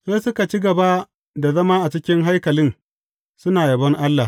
Sai suka ci gaba da zama a cikin haikalin, suna yabon Allah.